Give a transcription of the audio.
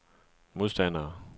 modstandere